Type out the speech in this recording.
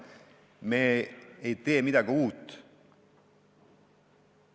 Me ei tee midagi uut.